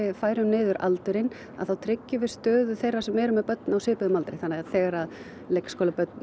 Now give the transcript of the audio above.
færum niður aldurinn að þá tryggjum við stöðu þeirra sem eru með börn á svipuðum aldri þannig að þegar leikskólabörn